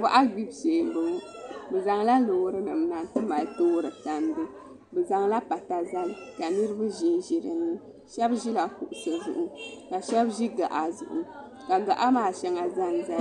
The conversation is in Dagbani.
Boɣa gbibu shee n boŋo bi zaŋla Loori nim na n ti mali toori tandi bi zaŋla pata zali ka niraba ʒinʒi dinni shab ʒila kuɣusi zuɣu ka shab ʒi gaɣa zuɣu ka gaɣa maa shɛŋa ʒɛnʒɛya